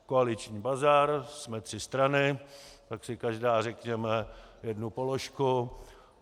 Koaliční bazar, jsme tři strany, tak si každá řekneme jednu položku.